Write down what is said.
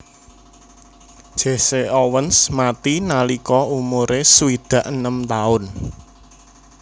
Jesse Owens mati nalika umuré swidak enem taun